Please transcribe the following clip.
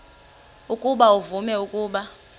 ukuba uvume ukuba